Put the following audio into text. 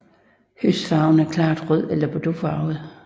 Høstfarven er klart rød eller bordeauxfarvet